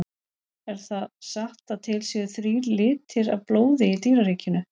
Er það satt að til séu þrír litir af blóði í dýraríkinu?